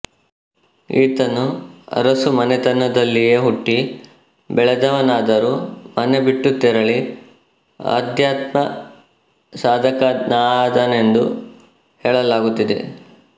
ಈತನು ಅರಸು ಮನೆತನದಲ್ಲಿಯೆ ಹುಟ್ಟಿ ಬೆಳೆದವನಾದರೂ ಮನೆ ಬಿಟ್ಟು ತೆರಳಿ ಅಧ್ಯಾತ್ಮಸಾಧಕನಾದನೆಂದು ಹೇಳಲಾಗುತ್ತಿದೆ